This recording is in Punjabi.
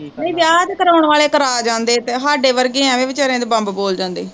ਨਈ ਵਿਆਹ ਤੇ ਕਰਾਉਣ ਵਾਲੇ ਕਰਾ ਜਾਂਦੇ ਪਏ, ਸਾਡੇ ਵਰਗੇ ਅਵੇ ਵਿਚਾਰਿਆ ਦੇ ਬੰਬ ਬੋਲ ਜਾਂਦੇ ਈ